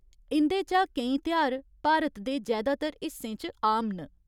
इं'दे चा केईं तेहार भारत दे जैदातर हिस्सें च आम न।